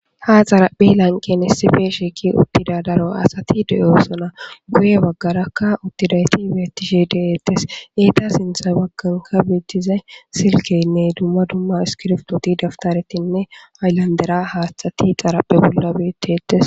ha xarapphi lanqen hissi pe shekki uttida daro asati deyosona guye baggarakka uttidayti beetishe deeettes eeta sinthay wagganka biittizay silkeynne dumma dumma iskiropooti daptaretinne ayllandera haatthati xarapphe bolla beettetes